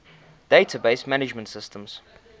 database management systems